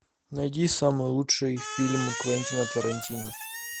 найди самый лучший фильм квентина тарантино